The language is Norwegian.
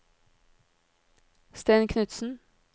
Stein Knutsen